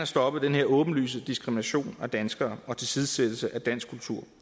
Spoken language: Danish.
stoppet den her åbenlyse diskrimination af danskere og tilsidesættelse af dansk kultur